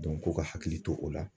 k'u ka hakili to o la